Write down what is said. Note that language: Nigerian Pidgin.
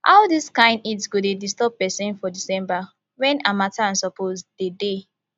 how dis kain heat go dey disturb pesin for december wen harmattan suppose dey dey